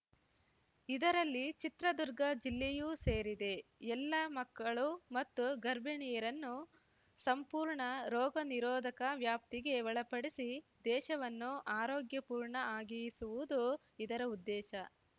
ಇದರಲ್ಲಿ ಚಿತ್ರದುರ್ಗ ಜಿಲ್ಲೆಯೂ ಸೇರಿದೆ ಎಲ್ಲ ಮಕ್ಕಳು ಮತ್ತು ಗರ್ಭಿಣಿಯರನ್ನು ಸಂಪೂರ್ಣ ರೋಗ ನಿರೋಧಕ ವ್ಯಾಪ್ತಿಗೆ ಒಳಪಡಿಸಿ ದೇಶವನ್ನು ಆರೋಗ್ಯಪೂರ್ಣ ಆಗಿಸುವುದು ಇದರ ಉದ್ದೇಶ